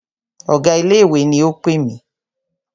Ọ̀gá ilé ìwé ni o pè mí.